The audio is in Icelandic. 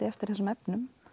eftir þessum efnum